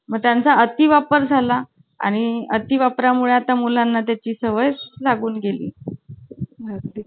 पोरं पोरी नाही बसावायचे कसे पण बसायच. काय झालं ना तो पहिल्या लाइनमध्ये बसलेला. आणि आमची आम्ही कोण नव्हतं वर्गात, मग आम्ही पकडापकडी खेळायला गेलो आणि तो ना पाय असा लांब करून.